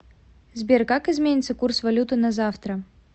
сбер как изменится курс валюты на завтра